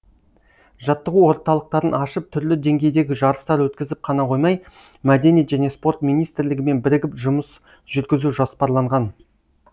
жаттығу орталықтарын ашып түрлі деңгейдегі жарыстар өткізіп қана қоймай мәдениет және спорт министрлігімен бірігіп жұмыс жүргізу жоспарланған